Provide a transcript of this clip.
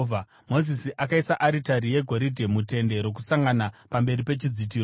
Mozisi akaisa aritari yegoridhe muTende Rokusangana pamberi pechidzitiro,